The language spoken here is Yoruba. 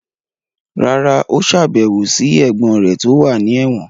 rárá, ó sàbẹ̀wò sí ẹ̀gbọ́n rẹ̀ tó wà ní ẹ̀wọ̀n.